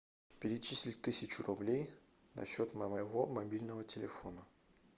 перечислить тысячу рублей на счет моего мобильного телефона